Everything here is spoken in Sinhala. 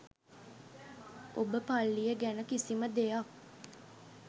ඔබ පල්ලිය ගැන කිසිම දෙයක්